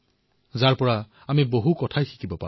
আমাক সকলোকে বহু কথা শিকায়